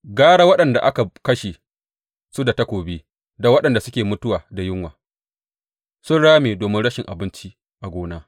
Gara waɗanda aka kashe su da takobi da waɗanda suke mutuwa da yunwa; sun rame domin rashin abinci a gona.